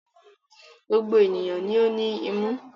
Gbogbo ènìyàn ni ó ní imú.